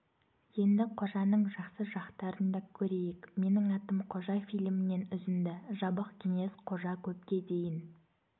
енді қожаның жақсы жақтарын да көрейік менің атым қожа фильмінен үзінді жабық кеңес қожа көпке дейін